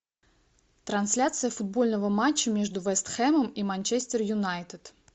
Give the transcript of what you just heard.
трансляция футбольного матча между вест хэмом и манчестер юнайтед